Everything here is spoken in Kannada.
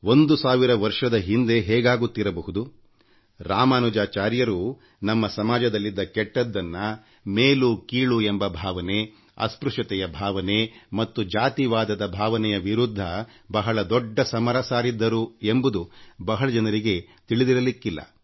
1೦೦೦ ವರ್ಷದ ಹಿಂದೆ ಹೇಗಾಗುತ್ತಿರಬಹುದು ರಾಮಾನುಜಾಚಾರ್ಯರು ನಮ್ಮ ಸಮಾಜದಲ್ಲಿದ್ದ ಕೆಟ್ಟದ್ದನ್ನಮೇಲು ಕೀಳು ಎಂಬ ಭಾವನೆ ಅಸ್ಪೃಶ್ಯತೆಯ ಭಾವನೆ ಮತ್ತು ಜಾತಿವಾದದ ಭಾವನೆಯ ವಿರುದ್ಧ ಬಹಳ ದೊಡ್ಡ ಸಮರ ಸಾರಿದ್ದರು ಎಂಬುದು ಬಹಳ ಜನರಿಗೆ ತಿಳಿದಿರಲಿಕ್ಕಿಲ್ಲ